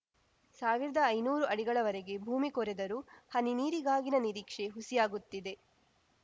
ಸಾವ್ರ್ದಾ ಐನೂರಾ ಅಡಿಗಳವರೆಗೆ ಭೂಮಿ ಕೊರೆದರೂ ಹನಿ ನೀರಿಗಾಗಿನ ನಿರೀಕ್ಷೆ ಹುಸಿಯಾಗುತ್ತಿದೆ